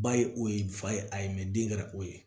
Ba ye o ye fa ye a ye den kɛra o ye